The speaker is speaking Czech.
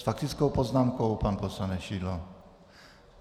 S faktickou poznámkou pan poslanec Šidlo.